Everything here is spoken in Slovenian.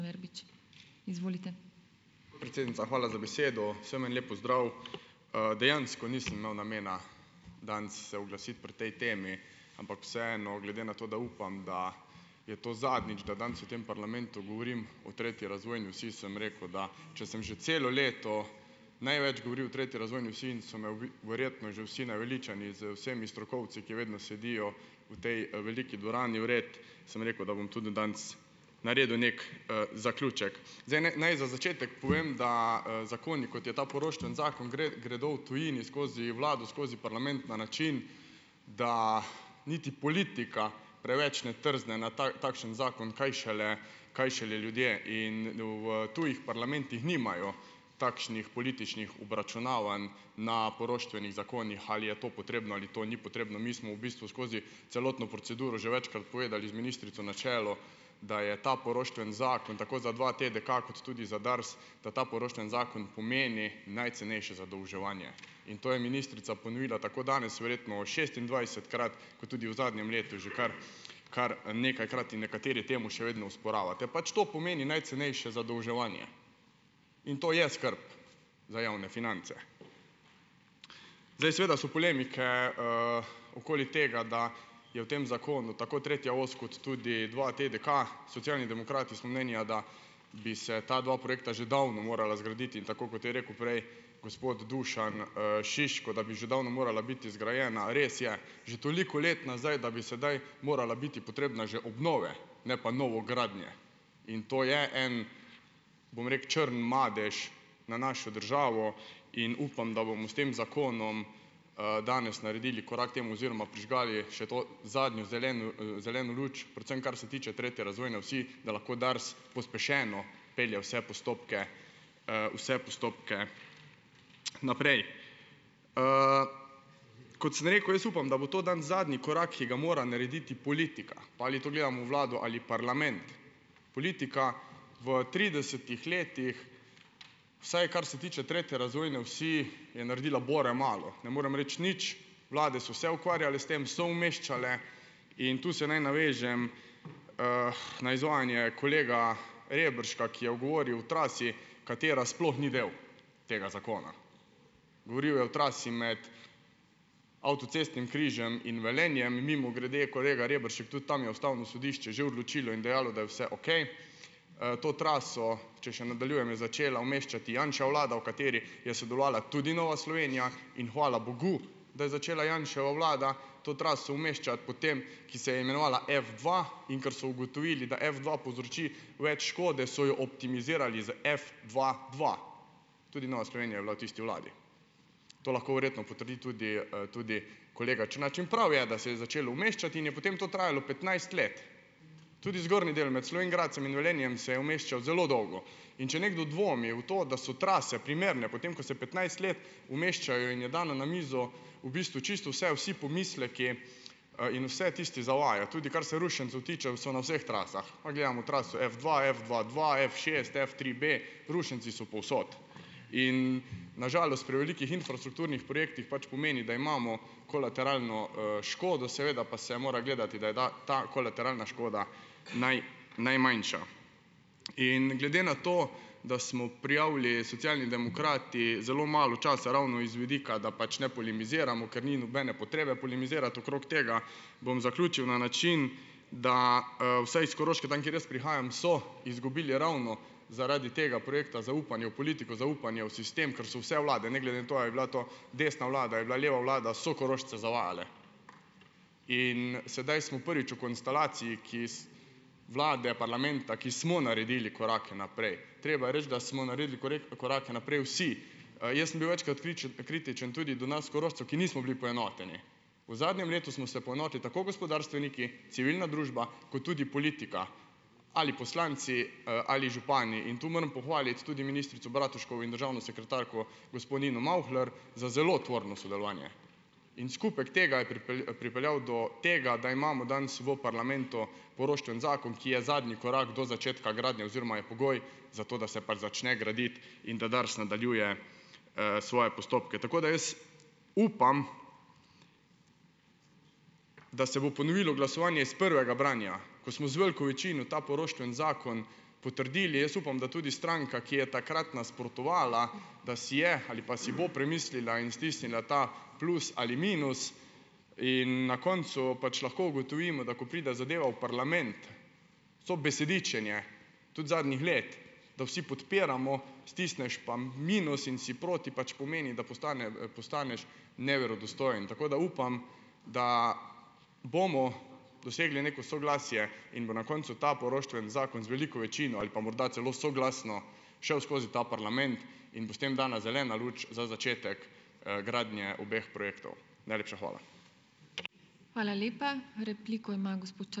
Podpredsednica, hvala za besedo. Vsem en lep pozdrav. Dejansko nisem imel namena danes se oglasiti pri tej temi, ampak vseeno glede na to, da upam, da je to zadnjič, da danes v tem parlamentu govorim o tretji razvojni osi, sem rekel, da če sem že celo leto največ govoril o treti razvojni osi in so me verjetno že vsi naveličani z vsemi strokovci, ki vedno sedijo v tej veliki dvorani, vred, sem rekel, da bom tudi danes naredil neki, zaključek. Zdaj naj za začetek povem, da, zakoni, kot je ta poroštveni zakon, gredo v tujini skozi vlado, skozi parlament na način, da niti politika preveč ne trzne na takšen zakon, kaj šele, kaj šele ljudje. In v tujih parlamentih nimajo takšnih političnih obračunavanj na poroštvenih zakonih, ali je to potrebno ali to ni potrebno. Mi smo v bistvu skozi celotno proceduro že večkrat povedali, z ministrico na čelu, da je ta poroštveni zakon, tako za dva TDK kot tudi za Dars, da ta poroštveni zakon pomeni najcenejše zadolževanje. In to je ministrica ponovila tako danes verjetno šestindvajsetkrat kot tudi v zadnjem letu že kar kar, nekajkrat. In nekateri temu še vedno osporavate. Pač to pomeni najcenejše zadolževanje in to je skrb za javne finance. Zdaj seveda so polemike, okoli tega, da je v tem zakonu tako tretja os kot tudi dva TDK, Socialni demokrati smo mnenja, da bi se ta dva projekta že davno morala zgraditi. In tako kot je rekel prej gospod Dušan, Šiško, da bi že davno morala biti zgrajena, res je, že toliko let nazaj, da bi sedaj morala biti potrebna že obnove, ne pa novogradnje. In to je en, bom črn madež na našo državo. In upam, da bomo s tem zakonom, danes naredili korak temu oziroma prižgali še to zadnjo zeleno, zeleno luč, predvsem kar se tiče tretje razvojne osi, da lahko Dars pospešeno pelje vse postopke, vse postopke naprej. Kot sem rekel, jaz upam, da bo to danes zadnji korak, ki ga mora narediti politika, pa ali to gledamo vlado ali pa parlament, politika v tridesetih letih, vsaj kar se tiče tretje razvojne osi, je naredila bore malo. Ne morem reči nič, vlade so se ukvarjale s tem, so umeščale in tu se naj navežem, na izvajanje kolega Rebrška, ki je govoril o trasi, katera sploh ni del tega zakona. Govoril je o trasi med avtocestnim križem in Velenjem in mimogrede, kolega Reberšek, tudi tam je ustavno sodišče že odločilo in dejalo, da je vse okej. To traso, če še nadaljujem, je začela umeščati Janševa vlada, v kateri je sodelovala tudi Nova Slovenija, in hvala bogu, da je začela Janševa vlada to traso umeščati, potem ki se je imenovala F dva, in kar so ugotovili, da F dva povzroči več škode, so jo optimizirali z F dva dva. Tudi Nova Slovenija je bila v tisti vladi. To lahko verjetno potrdi tudi, tudi kolega Črnač in prav je, da se je začelo umeščati in je potem to trajalo petnajst let. Tudi zgornji del med Slovenj Gradcem in Velenjem se je umeščal zelo dolgo. In če nekdo dvomi v to, da so trase primerne, potem ko se petnajst let umeščajo in je dana na mizo v bistvu čisto vse, vsi pomisleki in vsi tisti zavajajo, tudi kar se rušencev tiče, so na vseh trasah, pa gledamo traso F dva, F dva dva, F šest, F tri B, rušenci so povsod. In na žalost pri velikih infrastrukturnih projektih pač pomeni, da imamo kolateralno, škodo, seveda pa se mora gledati, da je ta kolateralna škoda najmanjša. In glede na to, da smo prijavili Socialni demokrati zelo malo časa ravno iz vidika, da pač ne polemiziramo, ker ni nobene potrebe polemizirati okrog tega, bom zaključil na način, da, vsaj iz Koroške, tam, kjer jaz prihajam, so izgubili ravno zaradi tega projekta zaupanje v politiko, zaupanje v sistem, ker so vse vlade, ne glede na to, a je bila to desna vlada a je bila leva vlada, so Korošče zavajale. In sedaj smo prvič v konstelaciji vlade, parlamenta, ki smo naredili korake naprej. treba je reči, da smo naredili korake naprej vsi. jaz sem bil večkrat kritičen tudi do nas Korošcev, ki nismo bili poenoteni. V zadnjem letu smo vse poenotili tako gospodarstveniki, civilna družba kot tudi politika ali poslanci, ali župani, in to moram pohvaliti tudi ministrico Bratuškovo in državno sekretarko gospo Nino Mavhler, za zelo tvorno sodelovanje in skupek tega je pripeljal do tega, da imamo danes v parlamentu poroštveni zakon, ki je zadnji korak do začetka gradnje oziroma je pogoj za to, da se pač začne graditi in da Dars nadaljuje, svoje postopke. Tako, da jaz upam, da se bo ponovilo glasovanje iz prvega branja, ko smo z veliko večino ta poroštveni zakon potrdili. Jaz upam, da tudi stranka, ki je takrat nasprotovala, da si je ali pa si bo premislila in stisnila ta plus ali minus, in na koncu pač lahko ugotovimo, da ko pride zadeva v parlament, vse besedičenje tudi zadnjih let, da vsi podpiramo, stisneš pa minus in si proti, pač pomeni, da postaneš neverodostojen, tako da upam, da bomo dosegli neko soglasje in bo na koncu ta poroštveni zakon z veliko večino ali pa morda celo soglasno šel skozi ta parlament in bo s tem dana zelena luč za začetek, gradnje obeh projektov. Najlepša hvala.